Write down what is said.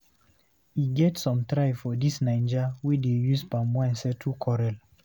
E get some tribe for dis naija wey dey use palm wine settle quarel.